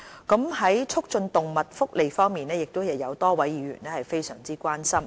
在促進動物福利方面，亦有多位議員非常關心。